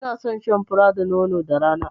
I na son shan fura da nono da rana